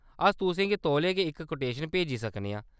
अस तुसें गी तौले गै इक कोटेशन भेजी सकने आं।